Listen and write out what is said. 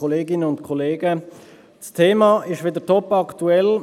Das Thema ist wieder topaktuell.